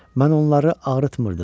Mən onları ağrıtmırdım.